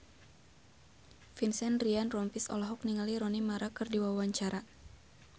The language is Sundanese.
Vincent Ryan Rompies olohok ningali Rooney Mara keur diwawancara